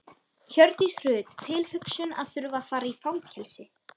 Hjördís Rut: Erfið tilhugsun að þurfa að fara í fangelsi?